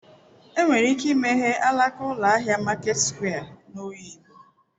Enwere ike imeghe alaka ụlọ ahịa Maket sụkwịa n'Oyigbo.